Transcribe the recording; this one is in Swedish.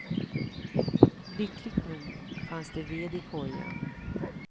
Lyckligt nog fanns det ved i kojan.